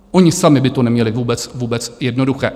Oni sami by to neměli vůbec jednoduché.